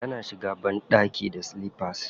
Tana shiga banɗaki da silifas.